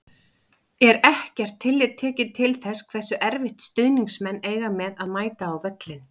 Er ekkert tillit tekið til þess hversu erfitt stuðningsmenn eiga með að mæta á völlinn?